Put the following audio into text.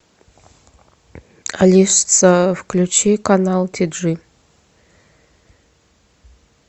алиса включи канал ти джи